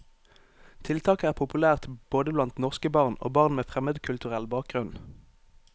Tiltaket er populært både blant norske barn og barn med fremmedkulturell bakgrunn.